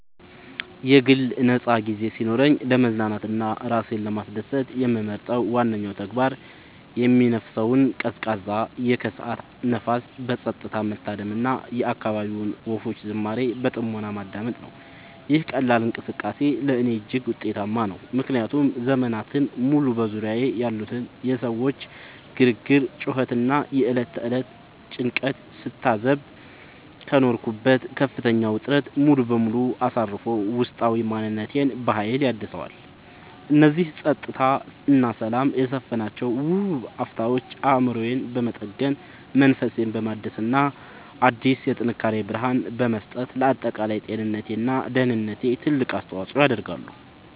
የግል ነፃ ጊዜ ሲኖረኝ ለመዝናናት እና ራሴን ለማስደሰት የምመርጠው ዋነኛው ተግባር የሚነፍሰውን ቀዝቃዛ የከሰዓት ንፋስ በፀጥታ መታደም እና የአካባቢውን ወፎች ዝማሬ በጥሞና ማዳመጥ ነው። ይህ ቀላል እንቅስቃሴ ለእኔ እጅግ ውጤታማ ነው፤ ምክንያቱም ዘመናትን ሙሉ በዙሪያዬ ያሉትን የሰዎች ግርግር፣ ጩኸት እና የዕለት ተዕለት ጭንቀት ስታዘብ ከኖርኩበት ከፍተኛ ውጥረት ሙሉ በሙሉ አሳርፎ ውስጣዊ ማንነቴን በሀይል ያድሰዋል። እነዚህ ፀጥታ እና ሰላም የሰፈነባቸው ውብ አፍታዎች አእምሮዬን በመጠገን፣ መንፈሴን በማደስ እና አዲስ የጥንካሬ ብርሃን በመስጠት ለአጠቃላይ ጤንነቴ እና ደህንነቴ ትልቅ አስተዋፅዖ ያደርጋሉ።